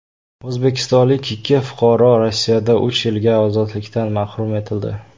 O‘zbekistonlik ikki fuqaro Rossiyada uch yilga ozodlikdan mahrum etildi.